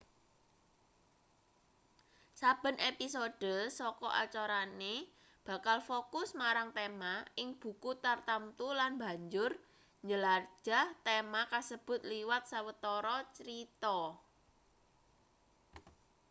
saben episode saka acarane bakal fokus marang tema ing buku tartamtu lan banjur njelajah tema kasebut liwat sawetara crita